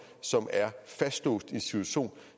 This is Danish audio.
som er fastlåst i en situation